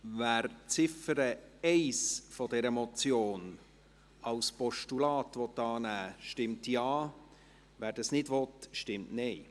Wer die Ziffer 1 dieser Motion als Postulat annehmen will, stimmt Ja, wer dies nicht will, stimmt Nein.